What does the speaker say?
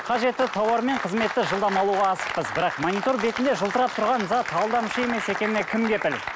қажетті тауар мен қызметті жылдам алуға асықпыз бірақ монитор бетінде жылтырап тұрған зат алдамшы емес екеніне кім кепіл